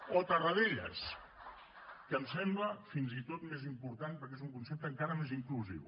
o tarradellas que em sembla fins i tot més important perquè és un concepte encara més inclusiu